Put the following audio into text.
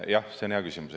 Jah, see on hea küsimus.